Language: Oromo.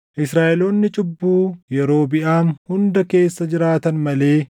Israaʼeloonni cubbuu Yerobiʼaam hunda keessa jiraatan malee